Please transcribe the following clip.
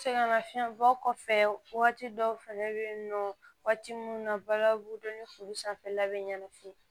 Sɛgɛnnafiɲɛbɔ kɔfɛ waati dɔw fɛnɛ be yen nɔ waati munnu na balabu ni sanfɛla be ɲanafini